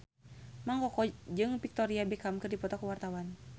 Mang Koko jeung Victoria Beckham keur dipoto ku wartawan